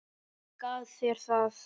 Hver gaf þér það?